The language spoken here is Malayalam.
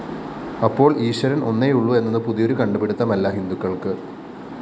അപ്പോള്‍ ഈശ്വരന്‍ ഒന്നേയുള്ളൂ എന്നത് പുതിയൊരു കണ്ടുപിടുത്തമല്ല ഹിന്ദുക്കള്‍ക്ക്